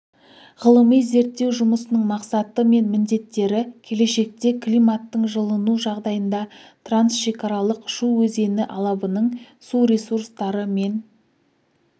ғылыми-зерттеу жұмысының мақсаты мен міндеттері келешекте климаттың жылыну жағдайында трансшекаралық шу өзені алабының су ресурстары мен